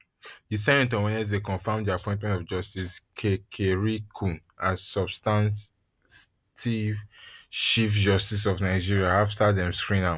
di senate on wednesday confam di appointment of justice kekereekun as substantive chief justice of nigeria afta dem screen am